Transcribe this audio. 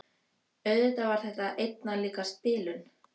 Auðvitað var þetta einna líkast bilun.